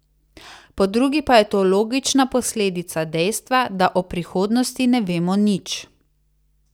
Po drugi pa je to logična posledica dejstva, da o prihodnosti ne vemo nič.